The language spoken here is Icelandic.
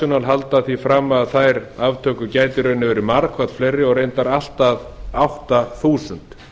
amnesty international halda því að að þær aftökur gætu í rauninni verið margfalt fleiri og reyndar allt að átta þúsund